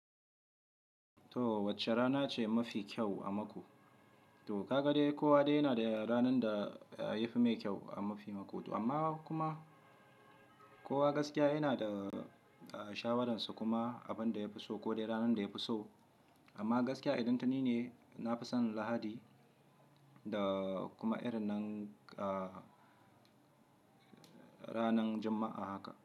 To wacce rana ce mafi kyau a mako? To ka ga dai kowa dai yana da ranar da yafi mai kyau a mafi mako. Amma kuma kowa gaskiya yana da shawararsa kuma abin da ya fi so ko dai ranar da ya fi so. Amma gaskiya idan tani ne, na fi son Lahadi da kuma irin nan, ranar Juma'a haka.